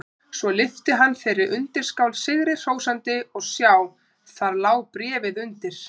Svo lyfti hann þeirri undirskál sigri hrósandi og sjá: Þar lá bréfið undir!